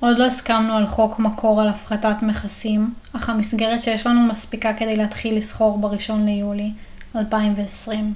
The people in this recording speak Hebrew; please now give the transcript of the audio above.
עוד לא הסכמנו על חוקי מקור ועל הפחתת מכסים אך המסגרת שיש לנו מספיקה כדי להתחיל לסחור בראשון ליולי 2020